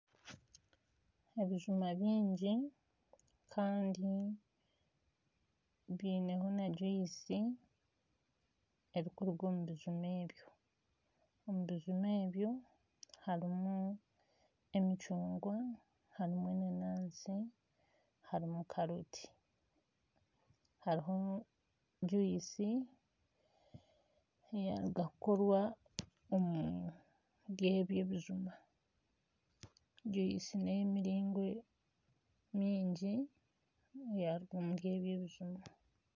Ebijuma bingi kandi biineho na gyuyisi erikuruga omu bijuma ebyo. Omu bijuma ebyo harimu emicungwa harimu enanansi harimu karoti. Hariho gyuyisi eyaruga kukorwa omuri ebyo ebijuma. Gyuyisi n'ey'emiringo mingi eyaruga omuri ebyo ebijuma.